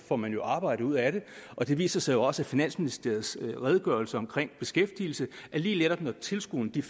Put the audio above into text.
får man arbejde ud af det og det viser sig også i finansministeriets redegørelse om beskæftigelsen at lige netop når tilskuddene